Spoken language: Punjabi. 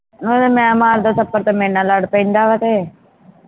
ਅਗਰ ਮੈਂ ਮਾਰਦਾ ਥੱਪੜ ਤਾਂ ਮੇਰੇ ਨਾਲ ਲੜ ਪੈਂਦਾ ਹਾ ਤੇ